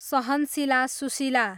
सहनशीला Sushila